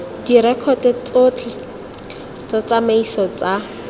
direkoto tsotlhe tsa ditsamaiso tsa